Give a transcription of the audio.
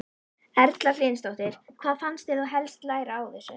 Erla Hlynsdóttir: Hvað fannst þér þú helst læra á þessu?